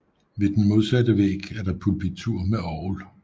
Ved den modsatte væg er der pulpitur med orgel